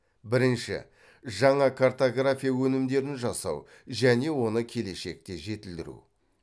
бірінші жаңа картография өнімдерін жасау және оны келешекте жетілдіру